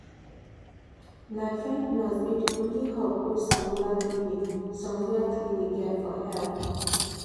na trained nurse be the only hope wey some rural clinic some rural clinic get for help.